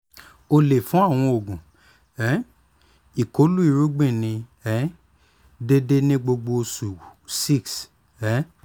o le fun awọn oogun um ikolu irugbin ni um deede ni gbogbo osu six um